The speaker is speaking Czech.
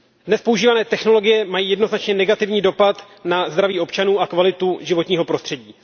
Dnes používané technologie mají jednoznačně negativní dopad na zdraví občanů a kvalitu životního prostředí.